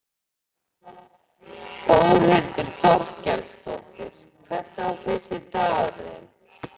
Þórhildur Þorkelsdóttir: Hvernig var fyrsti dagurinn þinn?